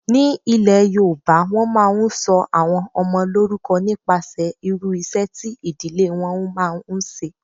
Ní ilé yoòbá, wọ́n máa n sọ àwọn ọmọ lórúkọ nípa irú iṣẹ́ tí ìdílé wọn máa n ṣe